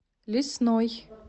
лесной